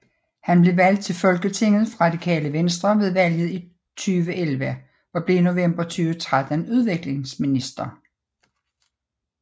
Han blev valgt til Folketinget for Radikale Venstre ved valget i 2011 og blev i november 2013 udviklingsminister